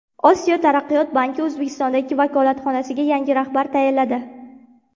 Osiyo taraqqiyot banki O‘zbekistondagi vakolatxonasiga yangi rahbar tayinladi.